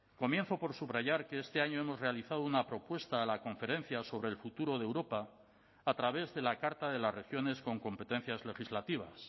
comienzo por subrayar que este año hemos realizado una propuesta a la conferencia sobre el futuro de europa a través de la carta de las regiones con competencias legislativas